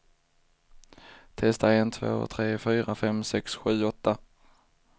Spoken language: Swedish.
Testar en två tre fyra fem sex sju åtta.